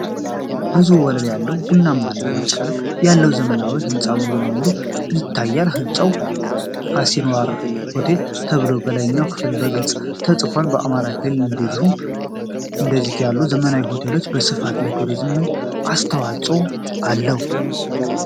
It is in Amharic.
ብዙ ወለል ያለው፣ ቡናማና ነጭ ቀለም ያለው ዘመናዊ ህንፃ ሙሉ ለሙሉ ይታያል። ሕንፃው "አሲንዋራ ሆቴል" ተብሎ በላይኛው ክፍል በግልፅ ተፅፏል። በአማራ ክልል እንደዚህ ያሉ ዘመናዊ ሆቴሎች መስፋፋት ለቱሪዝም ምን አስተዋፅዖ አለው?